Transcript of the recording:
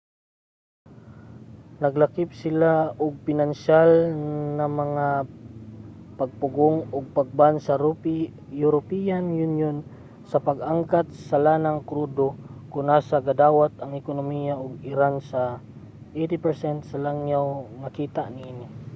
naglakip sila ug pinansyal na mga pagpugong og pag-ban sa european union sa pag-angkat sa lanang krudo kon asa gadawat ang ekonomiya sa iran sa 80% sa langyaw nga kita niini